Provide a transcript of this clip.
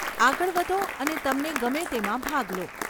આગળ વધો અને તમને ગમે તેમાં ભાગ લો.